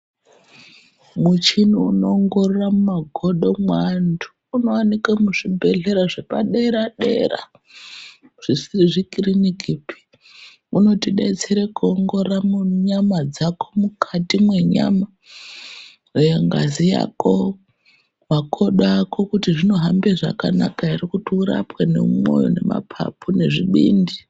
Muchini unoongorora mumagodo mweantu unovanike muzvibhedhlera zvepadera-dera, nezvikirinikipi unotibetsera kuongorora muntu nyama dzako mukati menyama, eya ngazi yako makodo ako kuti zvinohamba zvakanaka ere. Kuti urapwe nemumwoyo nemapapu nezvibindi.